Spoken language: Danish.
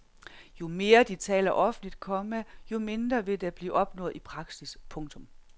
Jo mere de taler offentligt, komma jo mindre vil der blive opnået i praksis. punktum